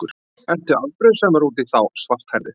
Ertu afbrýðisamur út í þá svarthærðu?